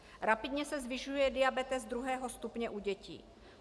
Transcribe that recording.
Rapidně se zvyšuje diabetes druhého stupně u dětí.